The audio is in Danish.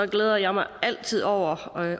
glæder jeg mig altid over